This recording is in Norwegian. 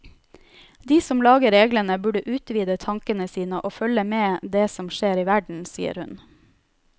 De som lager reglene burde utvide tankene sine og følge med det som skjer i verden, sier hun.